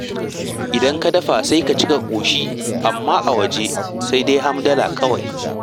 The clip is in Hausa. Idan ka dafa, sai ka ci ka ƙoshi, amma a waje, sai dai hamdala kawai.